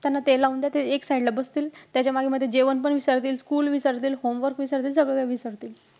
त्यांना ते लावून द्या ते एक side ला बसतील. त्याच्या मागे मध्ये जेवण पण विसरतील, school विसरतील, homework विसरतील. सगळं काही विसरतील.